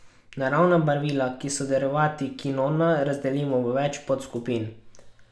Naravna barvila, ki so derivati kinona, razdelimo v več podskupin.